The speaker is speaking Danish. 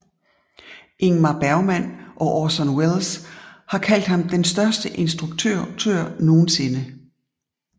Ingmar Bergman og Orson Welles har kaldt ham den største instruktør nogensinde